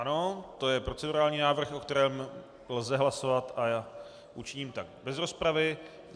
Ano, to je procedurální návrh, o kterém lze hlasovat, a já učiním tak bez rozpravy.